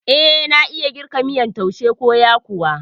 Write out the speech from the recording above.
Eh, nayi girka miyan taushe ko yakuwa